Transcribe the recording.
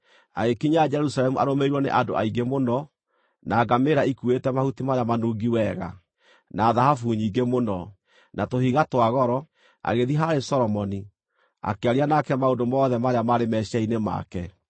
Agĩkinya Jerusalemu arũmĩrĩirwo nĩ andũ aingĩ mũno, na ngamĩĩra ikuuĩte mahuti marĩa manungi wega, na thahabu nyingĩ mũno, na tũhiga twa goro, agĩthiĩ harĩ Solomoni, akĩaria nake maũndũ mothe marĩa maarĩ meciiria-inĩ make.